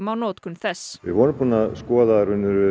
á notkun þess við vorum búin að skoða